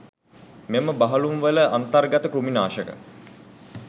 මෙම බහලුම් වල අන්තරගත කෘමිනාශක